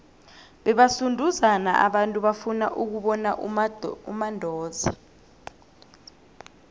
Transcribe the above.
bebasunduzana abantu bafuna ukubona umandoza